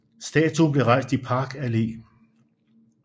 Statuen blev rejst i Park Allé